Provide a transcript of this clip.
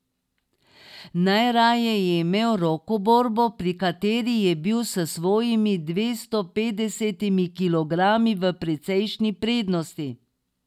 Najraje je imel rokoborbo, pri kateri je bil s svojimi dvestopetdesetimi kilogrami v precejšnji prednosti.